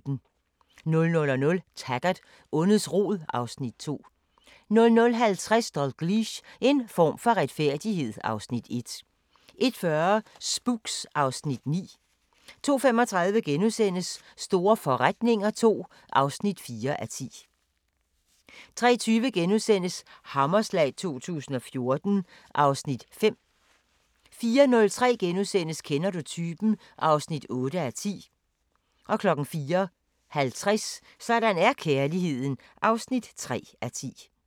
00:00: Taggart: Ondets rod (Afs. 2) 00:50: Dalgliesh: En form for retfærdighed (Afs. 1) 01:40: Spooks (Afs. 9) 02:35: Store forretninger II (4:10)* 03:20: Hammerslag 2014 (Afs. 5)* 04:05: Kender du typen? (8:10)* 04:50: Sådan er kærligheden (3:10)